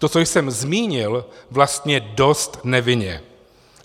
To, co jsem zmínil, vlastně dost nevinně.